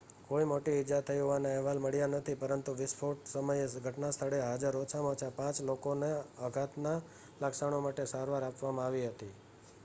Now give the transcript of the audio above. કોઈ મોટી ઈજા થઈ હોવાના અહેવાલ મળ્યા નથી પરંતુ વિસ્ફોટ સમયે ઘટનાસ્થળે હાજર ઓછામાં ઓછા પાંચ લોકોને આઘાતના લક્ષણો માટે સારવાર આપવામાં આવી હતી